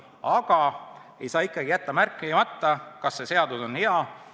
Aga ma ei saa jätta märkimata: "Kas see seadus on hea?